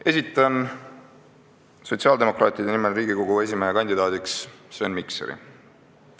Esitan sotsiaaldemokraatide nimel Riigikogu esimehe kandidaadiks Sven Mikseri.